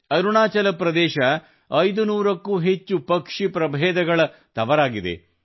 ಅರುಣಾಚಲ ಪ್ರದೇಶ 500 ಕ್ಕೂ ಹೆಚ್ಚು ಪಕ್ಷಿ ಪ್ರಭೇದದ ತವರಾಗಿದೆ